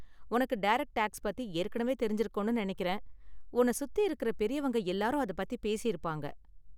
உனக்கு direct tax பத்தி ஏற்கனவே தெரிஞ்சிருக்கும்னு நெனைக்கிறேன், உன்ன சுத்தி இருக்குற பெரியவங்க எல்லாரும் அத பத்தி பேசிருப்பாங்க.